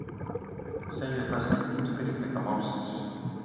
Segir það sitt um styrkleika málsins.